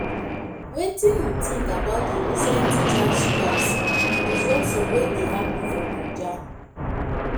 wetin you think about di recent teachers' strikes and disruption wey dey happen for naija?